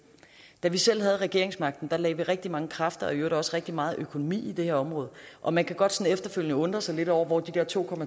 da vi selv havde regeringsmagten lagde vi rigtig mange kræfter og i øvrigt også rigtig meget økonomi i det her område og man kan godt efterfølgende undre sig lidt over hvor de der to